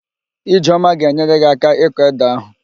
Ijeoma ga-enyere gị áká ịkọ édè ahụ